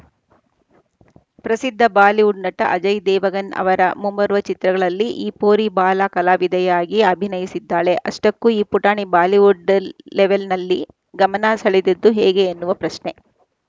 ಪ್ರಸಿದ್ಧ ಬಾಲಿವುಡ್‌ ನಟ ಅಜಯ್‌ ದೇವಗನ್‌ ಅವರ ಮುಂಬರುವ ಚಿತ್ರದಲ್ಲಿ ಈ ಪೋರಿ ಬಾಲ ಕಲಾವಿದೆಯಾಗಿ ಅಭಿನಯಿಸಲಿದ್ದಾಳೆ ಅಷ್ಟಕ್ಕೂ ಈ ಪುಟಾಣಿ ಬಾಲಿವುಡ್‌ ಲ್ ಲೆವೆಲ್‌ನಲ್ಲಿ ಗಮನ ಸೆಳೆದದ್ದು ಹೇಗೆ ಅನ್ನುವ ಪ್ರಶ್ನೆ